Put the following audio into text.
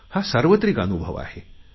हा सार्वत्रिक अनुभव आहे